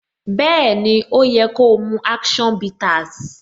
Bẹẹni, ó yẹ ko mu action bitters.